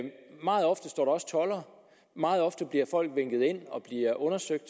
meget ofte står der også toldere og meget ofte bliver folk vinket ind og bliver undersøgt